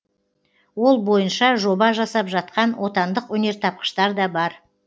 ол бойынша жоба жасап жатқан отандық өнертапқыштар да бар